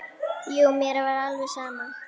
Jú, mér var alveg sama.